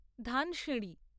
Dhansiri